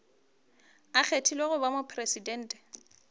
a kgethilwego go ba mopresidente